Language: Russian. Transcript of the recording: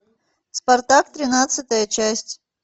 спартак тринадцатая часть